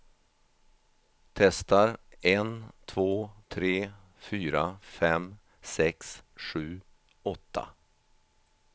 Testar en två tre fyra fem sex sju åtta.